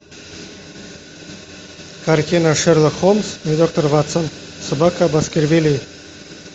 картина шерлок холмс и доктор ватсон собака баскервилей